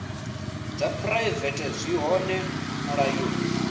dza phuraivete zwi hone mulayoni